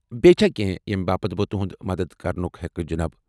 بیٚیہِ چھا کینٛہہ ییمہِ باپت بہٕ تُہُند مدتھ كرٕنُک ہیكہٕ جناب؟